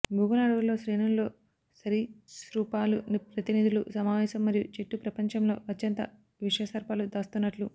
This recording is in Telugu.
భూగోళ అడవులలో శ్రేణుల్లో సరీసృపాలు ప్రతినిధులు సమావేశం మరియు చెట్లు ప్రపంచంలో అత్యంత విష సర్పాలు దాస్తున్నట్లు